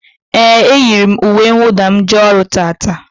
Éè, e yiri m uwe nwụda m jee ọrụ taata